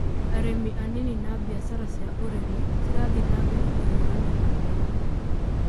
Arĩmi anini na biashara cia ũrĩmi cirathie na mbere na kũhiũrania na moritũ